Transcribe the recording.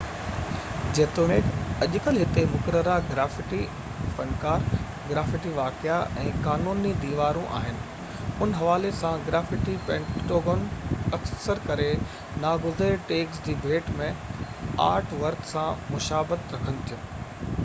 جيتوڻيڪ اڄڪلهه هتي مقرره گرافِٽي فنڪار گرافِٽي واقعا ۽ قانوني ديوارون آهن ان حوالي سان گرافِٽي پينٽنگون اڪثر ڪري ناگزير ٽيگز جي ڀيٽ ۾ آرٽ ورڪ سان مشابت رکن ٿيون